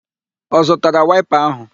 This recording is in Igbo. Ọ zụtara waịpa áhụ̀?